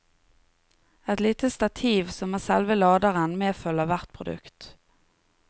Et lite stativ, som er selve laderen, medfølger hvert produkt.